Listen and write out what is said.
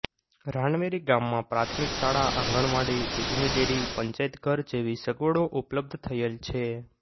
રાનવેરી ગામમાં પ્રાથમિક શાળા આંગણવાડી દૂધની ડેરી પંચાયતઘર જેવી સગવડો ઉપલબ્ધ થયેલ છે